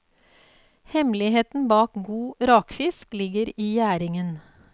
Hemmeligheten bak god rakefisk ligger i gjæringen.